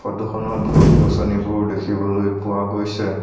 ফটোখনত গছ-গছনিবোৰ দেখিবলৈ পোৱা গৈছে।